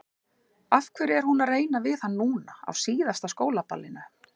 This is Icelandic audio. Af hverju er hún að reyna við hann núna, á síðasta skólaballinu?